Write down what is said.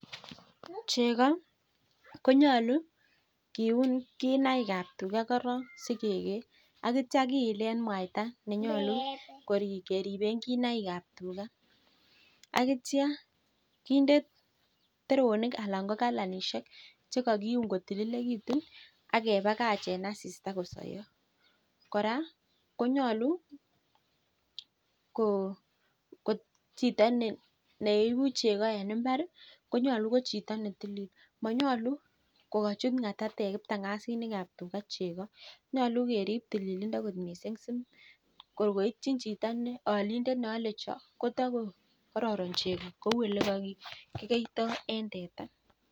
Chekoo konyaluu kiun kinaik ab tugaa atya kiilee mwayataa nenyoluu keribee kinaik ab tugaa akindee teronik anak ko kalanishek ako chito neibu chekoo kotilik missing